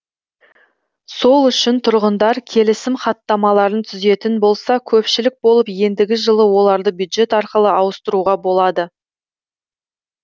сол үшін тұрғындар келісім хаттамаларын түзетін болса көпшілік болып ендігі жылы оларды бюджет арқылы ауыстыруға болады